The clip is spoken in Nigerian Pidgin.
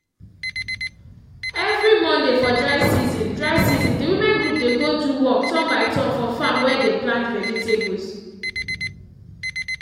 every monday for dry season dry season the women group dey go do work turn by turn for farm where they plant vegetables